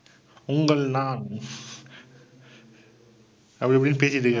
உங்கள் நான் அப்பிடி இப்படின்னு பேசிட்டிருக்காரு.